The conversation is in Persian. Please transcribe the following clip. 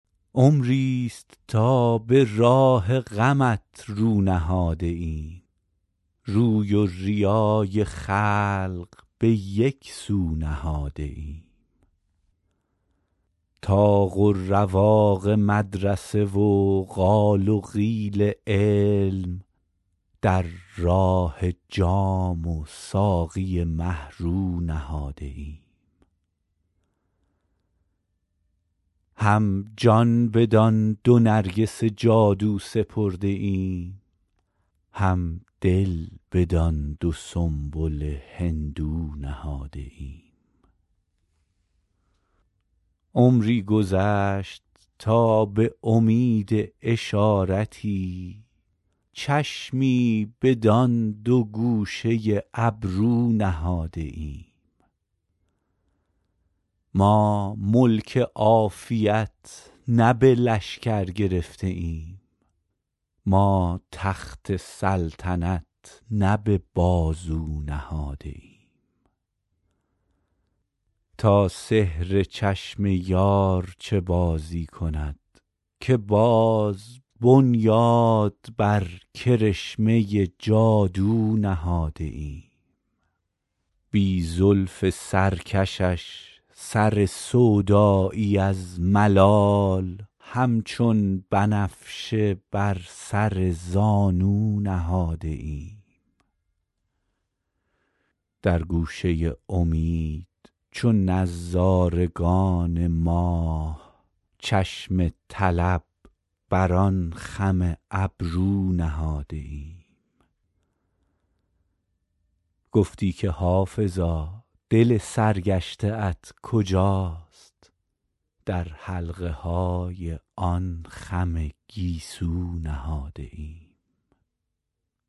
عمریست تا به راه غمت رو نهاده ایم روی و ریای خلق به یک سو نهاده ایم طاق و رواق مدرسه و قال و قیل علم در راه جام و ساقی مه رو نهاده ایم هم جان بدان دو نرگس جادو سپرده ایم هم دل بدان دو سنبل هندو نهاده ایم عمری گذشت تا به امید اشارتی چشمی بدان دو گوشه ابرو نهاده ایم ما ملک عافیت نه به لشکر گرفته ایم ما تخت سلطنت نه به بازو نهاده ایم تا سحر چشم یار چه بازی کند که باز بنیاد بر کرشمه جادو نهاده ایم بی زلف سرکشش سر سودایی از ملال همچون بنفشه بر سر زانو نهاده ایم در گوشه امید چو نظارگان ماه چشم طلب بر آن خم ابرو نهاده ایم گفتی که حافظا دل سرگشته ات کجاست در حلقه های آن خم گیسو نهاده ایم